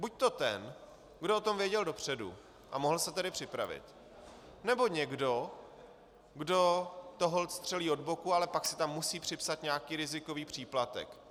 Buďto ten, kdo o tom věděl dopředu, a mohl se tedy připravit, nebo někdo, kdo to holt střelí od boku, ale pak si tam musí připsat nějaký rizikový příplatek.